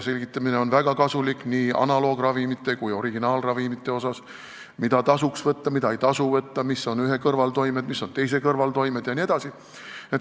Selgitamine on väga kasulik nii analoogravimite kui originaalravimite puhul – mida tasuks võtta, mida ei tasu võtta, mis on ühe kõrvaltoimed, mis on teise kõrvaltoimed jne.